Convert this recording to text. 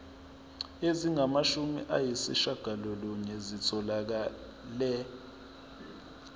ezingamashumi ayishiyagalolunye zitholakele